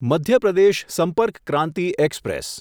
Madhya Pradesh Sampark Kranti express